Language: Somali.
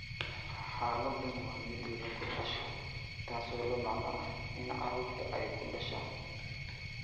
Xaaladdan waa mid lagu dhasho, taasoo la macno ah in carruurtu ay ku dhashaan.